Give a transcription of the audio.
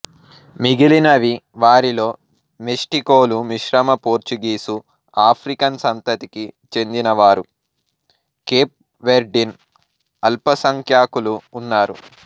మిగిలినవి వారిలో మెస్టికోలు మిశ్రమ పోర్చుగీసు ఆఫ్రికన్ సంతతికి చెందిన వారు కేప్ వెర్డిన్ అల్పసంఖ్యాకులు ఉన్నారు